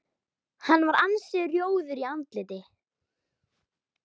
Hann var ansi rjóður í andliti.